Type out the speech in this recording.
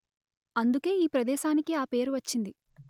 అందుకే ఈ ప్రదేశానికి ఆ పేరు వచ్చింది